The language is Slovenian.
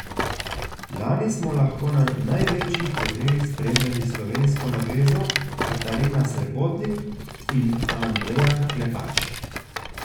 Lani smo lahko na največjih turnirjih spremljali slovensko navezo Katarina Srebotnik in Andreja Klepač.